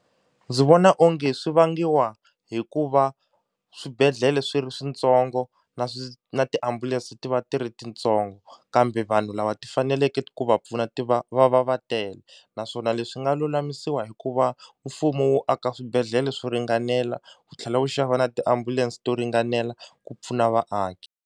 Ndzi vona onge swi vangiwa hi ku va swibedhlele swi ri switsongo na swi na tiambulense ti va ti ri tintsongo, kambe vanhu lava ti faneleke ku va pfuna ti va va va va tele. Naswona leswi nga lulamisiwa hi ku va mfumo wu aka swibedhlele swo ringanela ku tlhela wu xava na tiambulense to ringanela ku pfuna vaaki.